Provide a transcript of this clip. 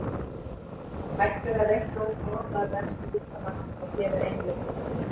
Hægt er að reikna út áætlaða brennslu líkamans og hér er ein leið til þess.